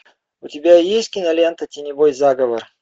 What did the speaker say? у тебя есть кинолента теневой заговор